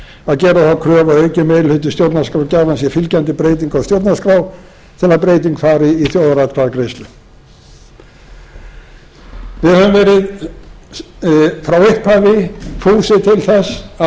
gera þá kröfu að aukinn meiri hluta stjórnarskrárgjafans sé fylgjandi breytingu á stjórnarskrá til að slík breyting fari í þjóðaratkvæðagreiðslu við höfum verið frá upphafi fúsir til þess að